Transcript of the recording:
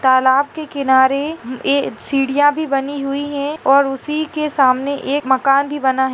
तालाब के किनारे मे ए सीढ़िया भी बनी हुई हैं और उसी के सामने एक मकान भी बना हैं।